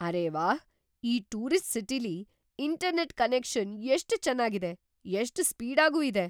ಅರೇ ವಾಹ್! ಈ ಟೂರಿಸ್ಟ್ ಸಿಟಿಲಿ ಇಂಟರ್ನೆಟ್ ಕನೆಕ್ಷನ್ ಎಷ್ಟ್ ಚೆನ್ನಾಗಿದೆ, ಎಷ್ಟ್ ಸ್ಪೀಡಾಗೂ ಇದೆ!